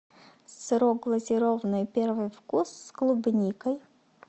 сырок глазированный первый вкус с клубникой